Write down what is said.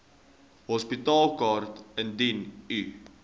hospitaalkaart indien u